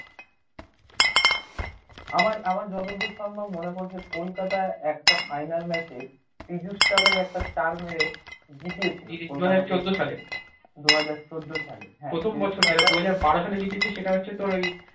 আমার আমার যতদূর সম্ভব মনে পড়ছে কলকাতা একটা final match পীযুষ চাওলা কে একটা চার মেরে জিতিয়ে দুহাজার চোদ্দ সালে